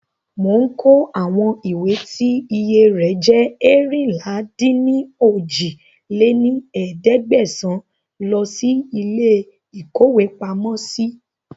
Mò ń kó àwọn ìwé tí iye rẹ̀ jẹ́ eérinlá-dín-ní-ojì lé ní ẹ̀ẹ́dẹ́gbẹ́sán lọ síí ilé ìkówepamọ́ si